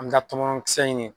An ka tɔmɔnɔn kisɛ ɲini